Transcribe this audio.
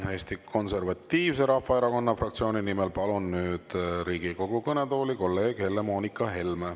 Palun Eesti Konservatiivse Rahvaerakonna fraktsiooni nimel siia Riigikogu kõnetooli kolleeg Helle-Moonika Helme.